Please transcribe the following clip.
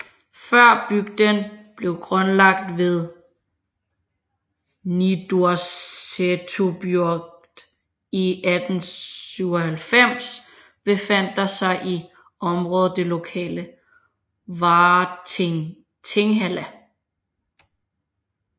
Før bygden blev grundlagt som Niðursetubygd i 1897 befandt der sig i området det lokale Várting Tinghella